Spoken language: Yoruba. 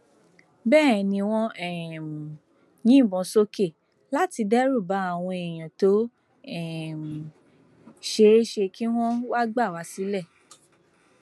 bẹẹ ni wọn ń um yìnbọn sókè láti dẹrù bá àwọn èèyàn tó um ṣeé ṣe kí wọn wáá gbà wá sílé